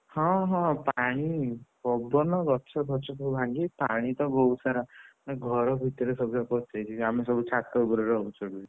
ହଁ ହଁ ପାଣି ପବନ ଗଛଫଛ ସବୁ ଭାଙ୍ଗି ପାଣି ତ ବହୁତ୍ ସାରା ମୋ ଘର ଭିତରେ ସବୁଯାକ ପଶିଯାଇଛି, ଆମେ ସବୁ ଛାତ ଉପରେ ରହୁଛୁ ଏବେବି